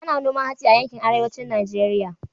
Ana noman hatsi a yankin Arewacin Najeriya